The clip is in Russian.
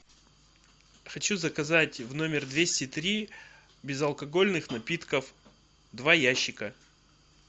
хочу заказать в номер двести три безалкогольных напитков два ящика